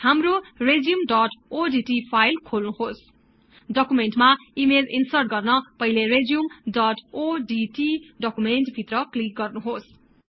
हाम्रो resume odt file खोल्नुहोस् डकुमेन्टमा ईमेज ईन्सर्ट गर्न पहिले रेजुमे odt डकुमेन्ट भित्र क्लिक गर्नुहोस्